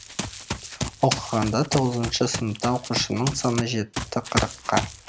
оқығанда тоғызыншы сыныпта оқушының саны жетті қырыққа